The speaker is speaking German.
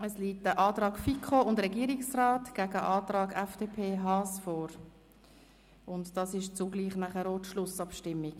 Ein Antrag der FiKo und des Regierungsrats liegt gegen den Antrag FDP/Haas vor, und das ist zugleich auch die Schlussabstimmung.